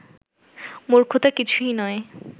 মূর্খতা কিছুই নয়